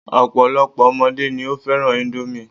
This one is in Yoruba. Ọ̀pọ̀lọ́pọ̀ ọmọdé ni ó fẹ́ràn índómì